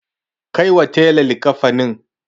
Kai wa tela likkafanin.